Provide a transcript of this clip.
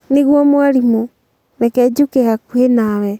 nĩguo mwarimũ, reke njũke hakuhĩ nawe